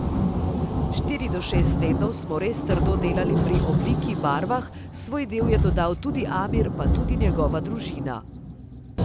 Štiri do šest tednov smo res trdo delali pri obliki, barvah, svoj del je dodal tudi Amir, pa tudi njegova družina.